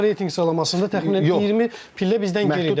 FIFA reytinq salamasında təxminən 20 pillə bizdən geridədir.